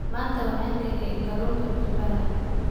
Maanta waxaan kariyaa kalluunka qumbaha.